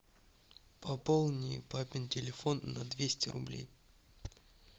пополни папин телефон на двести рублей